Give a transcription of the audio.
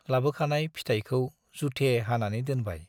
लाबोखानाय फिथायखौ जुथे हानानै दोनबाय ।